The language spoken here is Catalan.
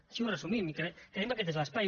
així ho resumim i creiem que aquest és l’espai